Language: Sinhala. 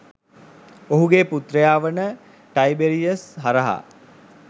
ඔහුගේ පුත්‍රයා වන ටයිබෙරියස් හරහා